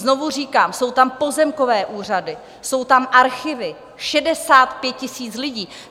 Znovu říkám, jsou tam pozemkové úřady, jsou tam archivy, 65 000 lidí.